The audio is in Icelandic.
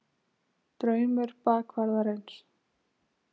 DRAUMUR BAKVARÐARINS.